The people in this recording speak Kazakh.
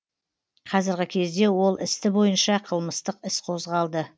қазіргі кезде ол істі бойынша қылмыстық іс қозғалды